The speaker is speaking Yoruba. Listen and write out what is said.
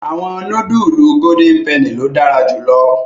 Awọn nudulu Golden Penny lo dara julọ